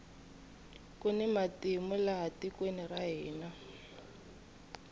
kuni matimu laha tikweni ra hina